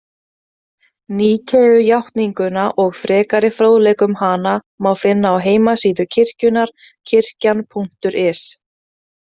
Níkeujátninguna og frekari fróðleik um hana má finna á heimasíðu kirkjunnar Kirkjan.is.